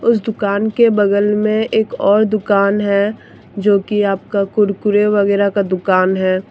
उस दुकान के बगल में एक और दुकान है जोकि आपका कुरकुरे वगैरा का दुकान है।